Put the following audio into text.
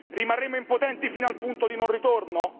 Rimarremo impotenti fino al punto di non ritorno?